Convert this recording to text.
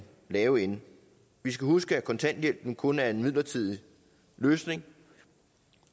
lave ende vi skal huske at kontanthjælpen kun er en midlertidig løsning